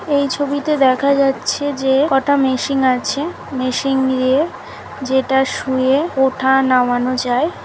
এই ছবিতে দেখা যাচ্ছে যে কটা মেশিন আছে মেশিন নিয়ে যেটা শুয়ে ওঠা নামানো যায় ।